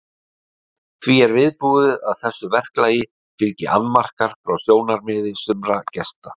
Því er viðbúið að þessu verklagi fylgi annmarkar frá sjónarmiði sumra gesta.